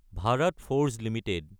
Bharat Forge Ltd